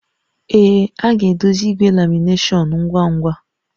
Ee, a ga-edozi igwe lamination ngwa ngwa